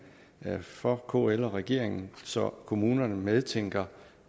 for kl og regeringen så kommunerne medtænker